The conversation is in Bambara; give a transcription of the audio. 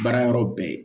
Baara yɔrɔ bɛɛ